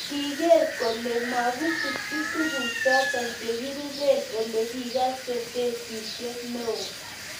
Kigeer kole masikchi tuguk choto chegerube, olegigase kesishek neo